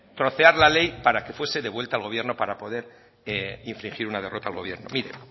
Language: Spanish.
trocear la ley para que fuese devuelva al gobierno para poner infligir una derrota al gobierno mire